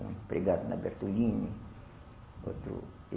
Um empregado na Bertolini. Outro